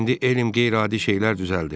İndi elm qeyri-adi şeylər düzəldir.